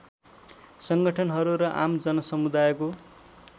सङ्गठनहरू र आम जनसमुदायको